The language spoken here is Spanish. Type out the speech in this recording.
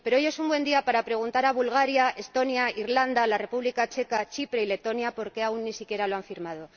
Pero hoy es un buen día para preguntar a Bulgaria, Estonia, Irlanda, la República Checa, Chipre y Letonia por qué aún ni siquiera lo han firmado.